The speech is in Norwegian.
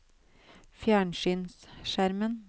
fjernsynsskjermen